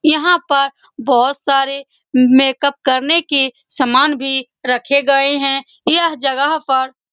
यहाँ पर बहुत सारे मेकअप करने के सामान भी रखे गये है यह जगह पर --